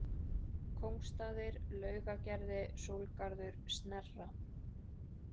Kóngsstaðir, Laugagerði, Sólgarður, Snerra